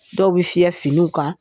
Dɔw bɛ fiyɛ finiw kan.